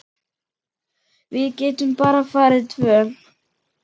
Við getum bara farið tvö.